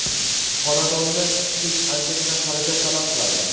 xonadonni isitish anchagina xarajat talab qiladi.